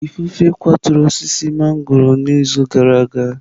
Ifufe kwaturu osisi mangọrọ n'izu gara aga.